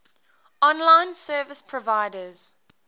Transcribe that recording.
online service providers